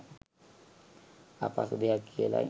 අපහසු දෙයක් කියලයි.